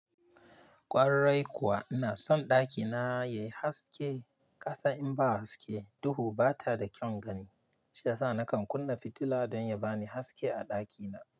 Kwarai kuwa ina son ɗakina yayi haske. Kasan in ba haske duhu bata da kyaun gani. Shi yasa nakan kunna fitila don ya bani haske a ɗakina.